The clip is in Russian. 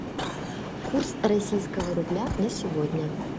курс российского рубля на сегодня